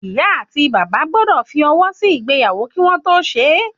ìyá ati bàbá gbọ́dọ̀ fi ọwọ sí ìgbéyàwó kí wọ́n tó ṣe